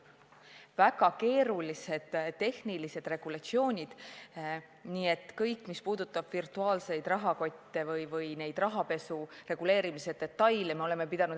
Oleme pidanud endale selgeks tegema väga keerulised tehnilised regulatsioonid, näiteks kõik, mis puudutab virtuaalseid rahakotte või rahapesu reguleerimise detaile.